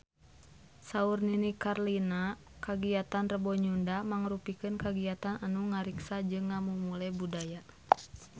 Saur Nini Carlina kagiatan Rebo Nyunda mangrupikeun kagiatan anu ngariksa jeung ngamumule budaya Sunda